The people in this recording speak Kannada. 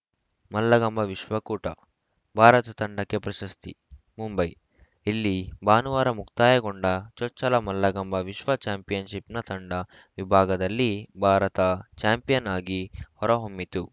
ಮಲ್ಲಕಂಬ ವಿಶ್ವ ಕೂಟ ಭಾರತ ತಂಡಕ್ಕೆ ಪ್ರಶಸ್ತಿ ಮುಂಬೈ ಇಲ್ಲಿ ಭಾನುವಾರ ಮುಕ್ತಾಯಗೊಂಡ ಚೊಚ್ಚಲ ಮಲ್ಲಕಂಬ ವಿಶ್ವ ಚಾಂಪಿಯನ್‌ಶಿಪ್‌ನ ತಂಡ ವಿಭಾಗದಲ್ಲಿ ಭಾರತ ಚಾಂಪಿಯನ್‌ ಆಗಿ ಹೊರಹೊಮ್ಮಿತು